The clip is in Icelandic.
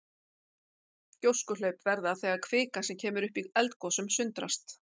Gjóskuhlaup verða þegar kvika sem kemur upp í eldgosum sundrast.